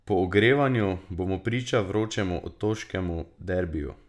Po ogrevanju bomo priča vročemu otoškemu derbiju.